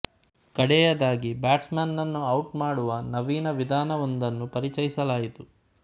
ಕಡೆಯದಾಗಿ ಬ್ಯಾಟ್ಸ್ ಮನ್ ನನ್ನು ಔಟ್ ಮಾಡುವ ನವೀನ ವಿಧಾನವೊಂದನ್ನು ಪರಿಚಯಿಸಲಾಯಿತು